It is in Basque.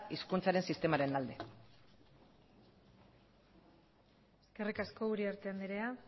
hizkuntzaren sistemaren alde eskerrik asko uriarte anderea